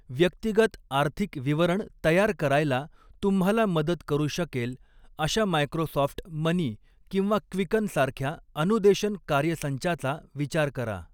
व्यक्तिगत आर्थिक विवरण तयार करायला तुम्हाला मदत करू शकेल अशा मायक्रोसॉफ्ट मनी किंवा क्वीकन सारख्या अनुदेशन कार्यसंचाचा विचार करा.